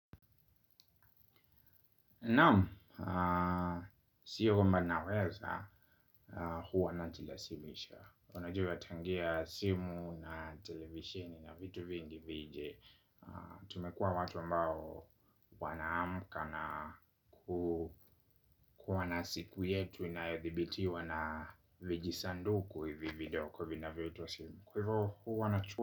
Naamu. Sio kwamba naweza, huwa najilazimisha. Unajua tangia simu na televisheni na vitu vingi vije tumekua watu ambao wanaamka na kuwa na siku yetu inayodhibitiwa na vijisanduku hivi vidogo vinavyoitwa simu hivyo huwa nachu.